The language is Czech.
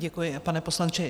Děkuji, pane poslanče.